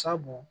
Sabu